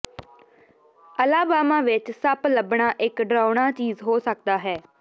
Alabama ਵਿੱਚ ਸੱਪ ਲੱਭਣਾ ਇੱਕ ਡਰਾਉਣਾ ਚੀਜ਼ ਹੋ ਸਕਦਾ ਹੈ